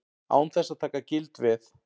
Án þess að taka gild veð.